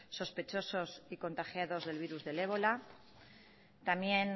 sospechosos y contagiados del virus del ébola también